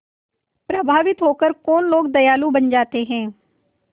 प्रभावित होकर कौन लोग दयालु बन जाते हैं